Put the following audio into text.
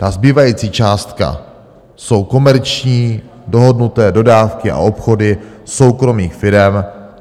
Ta zbývající částka jsou komerční, dohodnuté dodávky a obchody soukromých firem.